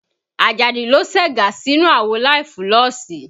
Àjàdí ló segá sínú àwo láì fúlọ̀sì